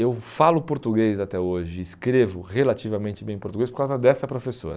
Eu falo português até hoje, escrevo relativamente bem português por causa dessa professora.